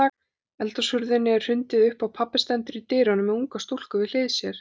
Eldhúshurðinni er hrundið upp og pabbi stendur í dyrunum með unga stúlku við hlið sér.